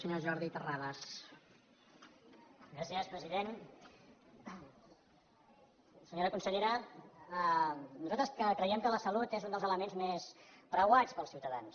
senyora consellera nosaltres que creiem que la salut és un dels elements més preuats pels ciutadans